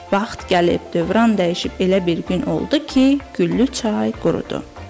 Vaxt gəlib, dövran dəyişib elə bir gün oldu ki, güllü çay qurudu.